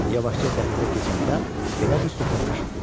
Yavaşca dəhlizə keçəndə belə bir söhbət eşitdi: